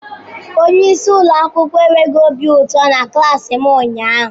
Onye isi ụlọ akwụkwọ enweghị obi ụtọ na klaasi m ụnyaahụ.